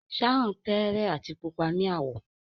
Sharon tẹẹrẹ ati pupa ni awọ.